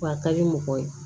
Wa a ka di mɔgɔ ye